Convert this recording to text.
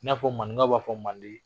I n'a fɔ maninkaw b'a fɔ manden